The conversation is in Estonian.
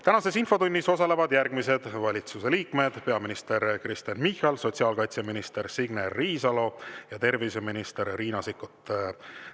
Tänases infotunnis osalevad järgmised valitsuse liikmed: peaminister Kristen Michal, sotsiaalkaitseminister Signe Riisalo ja terviseminister Riina Sikkut.